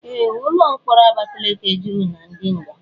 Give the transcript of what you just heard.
Ee, ụlọ mkpọrọ Abakaliki juru na ndi nga.